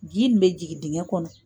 Ji tun bɛ jigin din.gɛ kɔnɔ